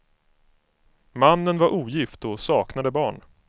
Mannen var ogift och saknade barn.